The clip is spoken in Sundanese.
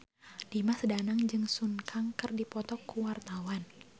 Dimas Danang jeung Sun Kang keur dipoto ku wartawan